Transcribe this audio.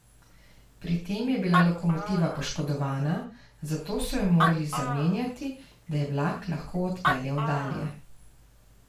Pri tem je bila lokomotiva poškodovana, zato so jo morali zamenjati, da je vlak lahko odpeljal dalje.